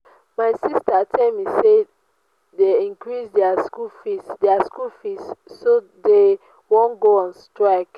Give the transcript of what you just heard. my sister tell me say dey increase their school fees their school fees so dey wan go on strike